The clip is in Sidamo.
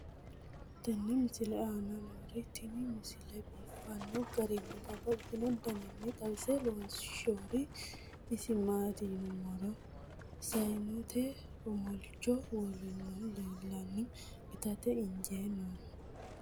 tenne misile aana noorina tini misile biiffanno garinni babaxxinno daniinni xawisse leelishanori isi maati yinummoro sayiinnette omolicho woroonnihu leelanno ittatte injjee noohu